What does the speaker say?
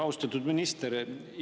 Austatud minister!